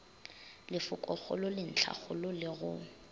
lefokogolo le ntlhakgolo le go